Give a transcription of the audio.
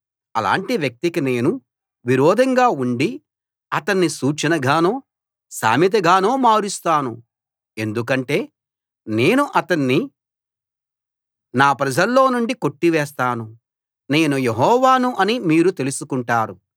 అలాంటి వ్యక్తికి నేను విరోధంగా ఉండి అతణ్ణి సూచనగానో సామెతగానో మారుస్తాను ఎందుకంటే నేను అతణ్ణి నా ప్రజల్లో నుండి కొట్టివేస్తాను నేను యెహోవాను అని మీరు తెలుసుకుంటారు